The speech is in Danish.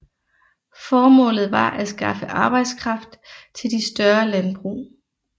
Formålet var at skaffe arbejdskraft til de større landbrug